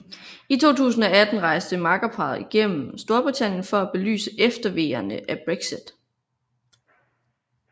I 2018 rejste makkerparret igennem Storbritannien for at belyse efterveerne af Brexit